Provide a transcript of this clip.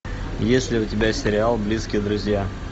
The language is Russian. есть ли у тебя сериал близкие друзья